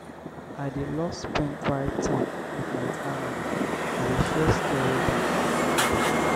i dey love spend quiet time with my family we dey share stories and laugh together.